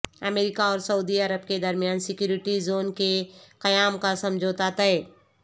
امریکہ اور سعودی عرب کے درمیان سیکورٹی زون کے قیام کا سمجھوتہ طے